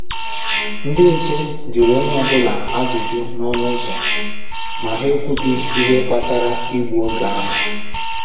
Ndị nche jụrụ onye ọ́bụla ajụjụ n’ọnụ ụzọ, ma ha ekwughi ihe kpatara igbu oge ahụ.